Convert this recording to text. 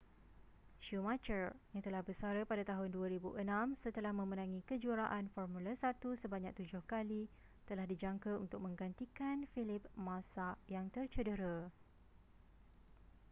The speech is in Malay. schumacher yang telah bersara pada tahun 2006 setelah memenangi kejuaraan formula 1 sebanyak tujuh kali telah dijangka untuk menggantikan felipe massa yang tercedera